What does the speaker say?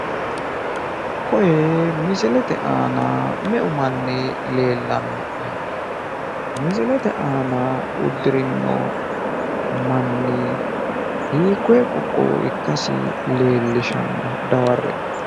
Koyi misilete aana me''eu manni leellanno'ne misilete aana uddirinno manni hiikkoyi qoqqowo ikkasi leellishanno daware''e